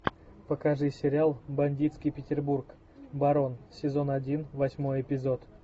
покажи сериал бандитский петербург барон сезон один восьмой эпизод